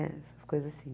Né essas coisas assim.